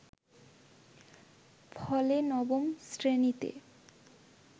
ফলে নবম শ্রেণীতে